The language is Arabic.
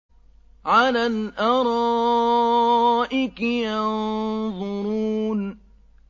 عَلَى الْأَرَائِكِ يَنظُرُونَ